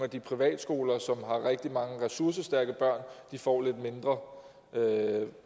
de privatskoler som har rigtig mange ressourcestærke børn får lidt mindre